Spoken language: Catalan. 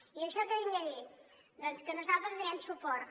i amb això què vinc a dir doncs que nosaltres hi donarem suport